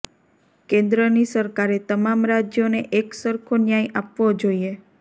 કેન્દ્રની સરકારે તમામ રાજ્યોને એક સરખો ન્યાય આપવો જોઇએ